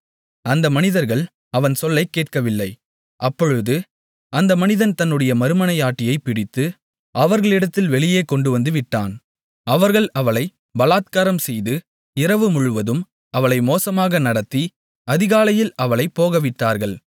அந்த மனிதர்கள் அவன் சொல்லைக் கேட்கவில்லை அப்பொழுது அந்த மனிதன் தன்னுடைய மறுமனையாட்டியைப் பிடித்து அவர்களிடத்தில் வெளியே கொண்டுவந்து விட்டான் அவர்கள் அவளை பலாத்காரம் செய்து இரவு முழுவதும் அவளை மோசமாக நடத்தி அதிகாலையில் அவளைப் போகவிட்டார்கள்